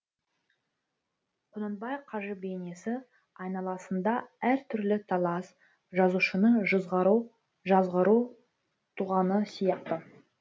құнанбай қажы бейнесі айналасында әртүрлі талас жазушыны жазғыру туғаны сияқты